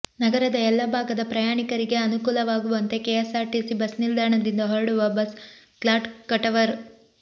ನಗರದ ಎಲ್ಲ ಭಾಗದ ಪ್ರಯಾಣಿಕರಿಗೆ ಅನುಕೂಲ ಆಗುವಂತೆ ಕೆಎಸ್ಆರ್ಟಿಸಿ ಬಸ್ ನಿಲ್ದಾಣದಿಂದ ಹೊರಡುವ ಬಸ್ ಕ್ಲಾಟ್ ಕಟವರ್